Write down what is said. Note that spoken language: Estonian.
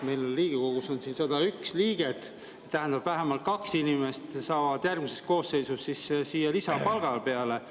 Meil Riigikogus on 101 liiget, tähendab, vähemalt kaks inimest saavad siis järgmises koosseisus siia lisapalga peale.